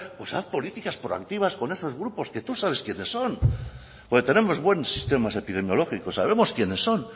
pues haz política proactivas con esos grupos que tú sabes quienes son porque tenemos buenos sistemas epidemiológicos sabemos quiénes son